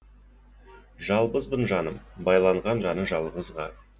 жалбызбын жаным байланған жаны жалғызға